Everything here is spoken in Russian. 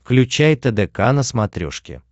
включай тдк на смотрешке